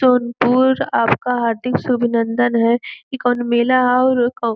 सोनपुर आपका हार्दिक सुभिनन्दन है इ कोनो मेला है अउर --